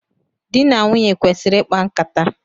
Dị na nwunye kwesịrị ikpa nkata.